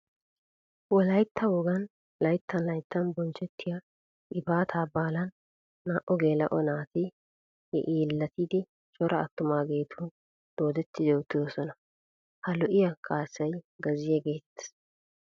Wolaytta wogan laytttan laytttan bonchchettiya gifaataa baalan naa"u geela"o naati yeellatiiddi cora attumaageetun doodetti uttidosona. Ha lo'iya kaassay gazziya geetettes.